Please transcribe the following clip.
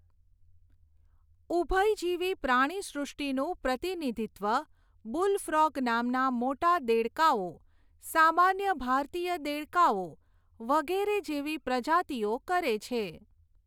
ઉભયજીવી પ્રાણીસૃષ્ટિનું પ્રતિનિધિત્વ બુલફ્રોગ નામના મોટા દેડકાઓ, સામાન્ય ભારતીય દેડકોઓ, વગેરે જેવી પ્રજાતિઓ કરે છે.